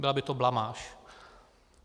Byla by to blamáž.